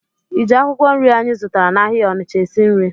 Ị ji akwụkwọ nri anyị zụtara n'ahịa Onịcha esi nri?